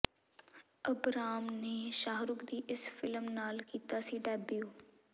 Abram ਨੇ ਸ਼ਾਹਰੁਖ ਦੀ ਇਸ ਫਿਲਮ ਨਾਲ ਕੀਤਾ ਸੀ ਡੈਬਿਊ